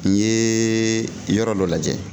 N ye yɔrɔ dɔ lajɛ